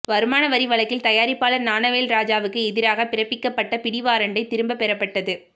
வருமான வரி வழக்கில் தயாரிப்பாளர் ஞானவேல் ராஜாவுக்கு எதிராக பிறப்பிக்கப்பட்ட பிடிவாரண்டை திரும்பப் பெறப்பட்டது